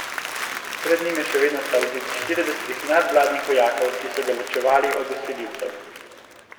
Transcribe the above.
Pred njim je še vedno stal zid štiridesetih nadvladnih vojakov, ki so ga ločevali od vsiljivcev.